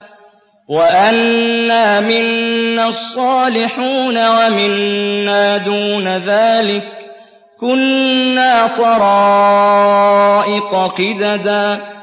وَأَنَّا مِنَّا الصَّالِحُونَ وَمِنَّا دُونَ ذَٰلِكَ ۖ كُنَّا طَرَائِقَ قِدَدًا